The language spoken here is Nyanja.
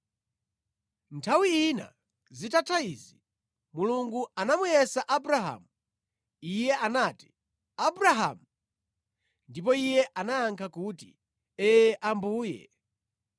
Nthawi ina zitatha izi, Mulungu anamuyesa Abrahamu. Iye anati, “Abrahamu!” Ndipo iye anayankha kuti, “Ee Ambuye.”